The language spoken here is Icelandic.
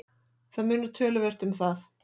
Það munar töluvert um það.